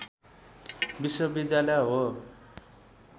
विश्वविद्यालय हो